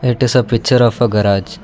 it is a picture of a garage.